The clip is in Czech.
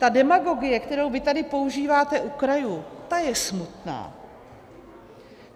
Ta demagogie, kterou vy tady používáte u krajů, ta je smutná.